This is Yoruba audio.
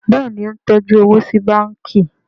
Béèni o ń tọjú owo sí bánkì.